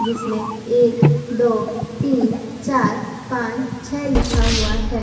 जिसमें एक दो तीन चार पांच छ लिखा हुआ है।